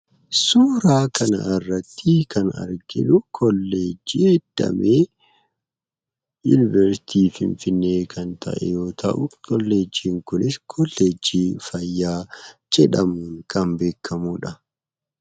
Suura kana irratti kan arginu koollejjii damee Yuniversiitii Finfinnee yoo ta'u koollejjiin Kunis koollejjii fayyaa jedhamuun kan beekkamudha.